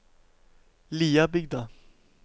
Liabygda